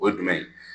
O ye jumɛn ye